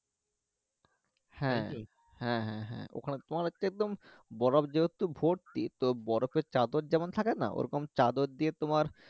হ্যাঁ হ্যাঁ হ্যাঁ হ্যাঁ ওখানে তোমার হচ্ছে একদম বরফ যেহেতু ভর্তি তো বরফের চাদর যেমন থাকে না ওরকম চাদর দিয়ে তোমার